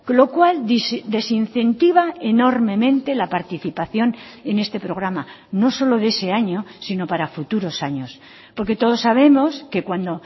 lo cual desincentiva enormemente la participación en este programa no solo de ese año sino para futuros años porque todos sabemos que cuando